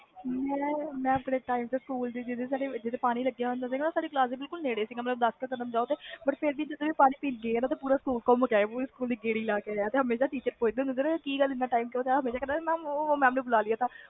ਮੈਂ ਆਪਣੇ time ਤੇ ਸਕੂਲ ਵਿਚ ਪਾਣੀ ਪੀਣ ਜਾਣਾ ਵਸੇ ਪਾਣੀ ਵਾਲੀ ਟੂਟੀ ਸਾਡੇ ਕਲਾਸ ਦੇ ਕੋਲ ਹੀ ਸੀ ਪਰ ਫਿਰ ਅਸੀਂ ਘੁੰਮ ਫਿਰ ਕੇ ਅਨਾ ਚੰਗੀ ਤਰਾਂ ਜੇ mam ਨੇ ਪੁੱਛਣ ਤੇ ਅਸੀਂ ਬੋਲ ਦੇਣਾ ਕਿ ਬੁਲਾ mam ਲਿਆ ਸੀ